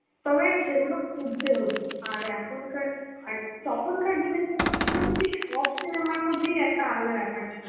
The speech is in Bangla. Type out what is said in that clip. তবে সেগুলো খুজতে হতো. আর এখনকার, আর তখনকার দিনের cinema ছিলো কি তুই সব cinema র মধ্যেই একটা আলাদা ব্যাপার ছিলো.